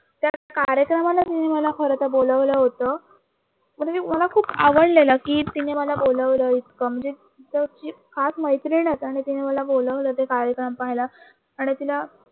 कार्यक्रमाला खरंतर तिने मला बोलावलं होतं खूप आवडलेलं की तिने मला बोलावलं इतक म्हणजे खास मैत्रीण आहे आणि तिने मला बोलावलं ते कार्यक्रम पाहायल आणि तिला